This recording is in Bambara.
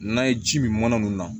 N'a ye ji min mana mun na